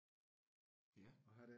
Ja